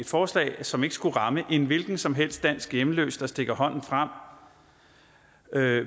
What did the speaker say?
forslag som ikke skulle ramme en hvilken som helst dansk hjemløs der stikker hånden frem